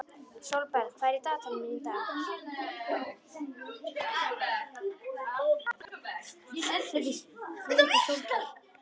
Sólberg, hvað er í dagatalinu mínu í dag?